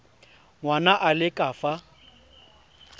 ngwana a le ka fa